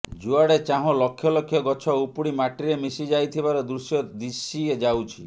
ଯୁଆଡେ ଚାହଁ ଲକ୍ଷ ଲକ୍ଷ ଗଛ ଉପୁଡ଼ି ମାଟିରେ ମିଶି ଯାଇଥିବାର ଦୃଶ୍ୟ ଦିଶି ଯାଉଛି